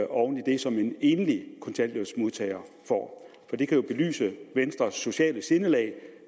oven i det som en enlig kontanthjælpsmodtager får det kan jo belyse venstres sociale sindelag